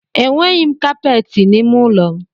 E nweghi kapeti n’ime ụlọ m